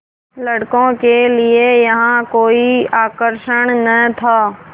लड़कों के लिए यहाँ कोई आकर्षण न था